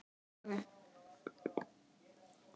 hafði Lóa-Lóa spurt.